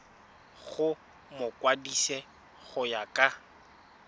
go mokwadise go ya ka